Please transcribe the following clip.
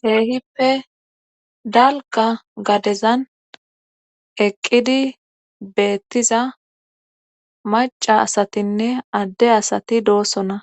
keehippe dalqa gadezan eqqidi beettiza maca asatinne adde asati doosona